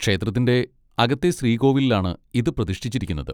ക്ഷേത്രത്തിന്റെ അകത്തെ ശ്രീകോവിലിലാണ് ഇത് പ്രതിഷ്ഠിച്ചിരിക്കുന്നത്.